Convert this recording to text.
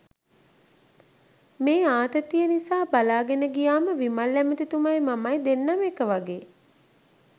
මේ ආතතිය නිසා බලාගෙන ගියාම විමල් ඇමතිතුමයි මමයි දෙන්නම එක වගේ